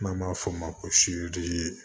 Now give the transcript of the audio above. N'an b'a fɔ o ma ko